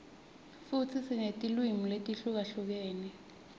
futsi sinetilwimi letihlukahlukene